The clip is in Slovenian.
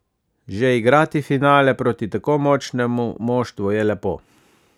Že igrati finale proti tako močnemu moštvu je lepo.